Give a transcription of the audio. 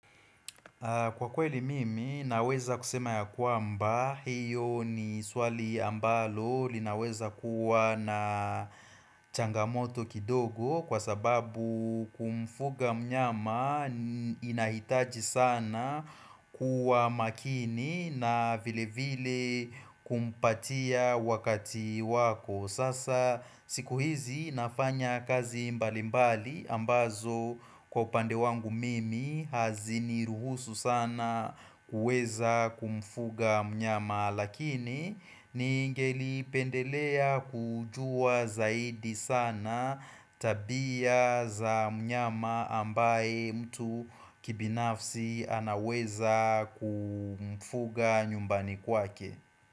Kwa kweli mimi naweza kusema ya kwamba hiyo ni swali ambalo linaweza kuwa na changamoto kidogo kwa sababu kumfuga mnyama inahitaji sana kuwa makini na vile vile kumpatia wakati wako. Sasa siku hizi nafanya kazi mbali mbali ambazo kwa upande wangu mimi haziniruhusu sana kuweza kumfuga mnyama lakini ningelipendelea kujua zaidi sana tabia za mnyama ambaye mtu kibinafsi anaweza kumfuga nyumbani kwake.